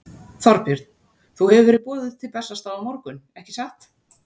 Þorbjörn: Þú hefur verið boðuð til Bessastaða á morgun, ekki satt?